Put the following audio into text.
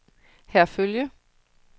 Herfølge